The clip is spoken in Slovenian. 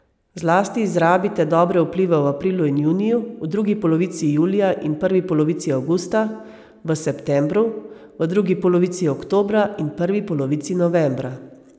Zlasti izrabite dobre vplive v aprilu in juniju, v drugi polovici julija in prvi polovici avgusta, v septembru, v drugi polovici oktobra in prvi polovici novembra.